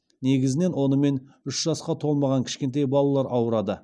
негізінен онымен үш жасқа толмаған кішкентай балалар ауырады